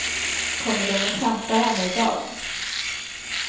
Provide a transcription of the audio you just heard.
Kommer de och hämtar henne i dag?